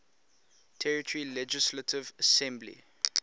territory legislative assembly